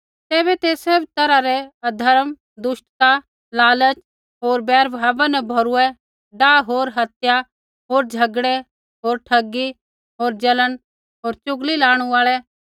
तैबै ते सैभ तैरहा रै अधर्म दुष्टता लालच होर बैरभाव न भोरुये डाह होर हत्या होर झ़गड़ै होर ठगी होर जलन होर चुगली लाणु आल़ै